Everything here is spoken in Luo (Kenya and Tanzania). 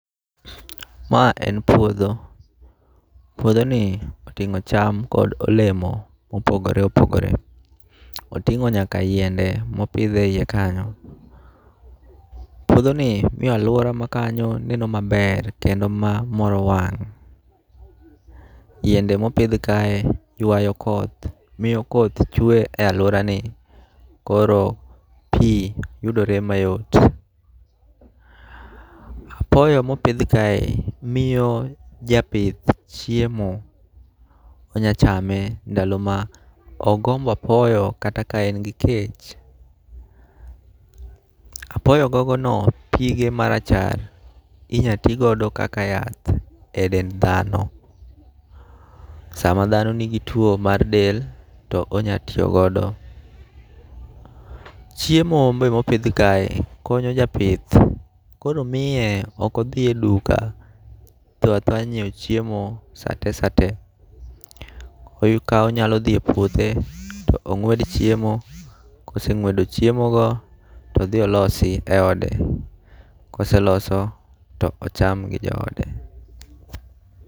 Ma en puodho, puodho ni oting'o cham kod olemo mopogore opogore. Oting'o nyaka yiende mopidhe iye kanyo. Puodho ni miyo alwora ma kanyo neno maber kendo ma moro wang'. Yiende mopidh kae ywayo koth, miyo koth chwe e alwora ni, koro pi yudore mayot. Apoyo mopidh kae miyo japith chiemo, onyachame ndalo ma ogombo apoyo kata ka en gi kech. Apoyo gogono pige marachar inya ti godo kaka yath e dend dhano. Sama dhano nigi tuo mar del, to onya tiyo godo. Chiemo be mopidh kae konyo japith, koro miye okodhi e duka, tho athoya nyiewo chiemo sate sate. Koyo ka onyalo dhi e puothe to ong'wed chiemo. Koseng'wedo chiemo go, todhi olosi e ode. Koseloso to ocham go joode.